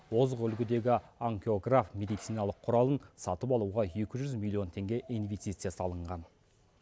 озық үлгідегі ангиограф медициналық құралын сатып алуға екі жүз миллион теңге инвестиция салынған